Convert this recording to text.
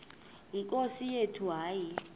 nkosi yethu hayi